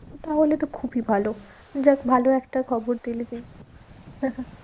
তা হলে তো খুবই ভালো যাক ভালো একটা খবর দিলি তুই।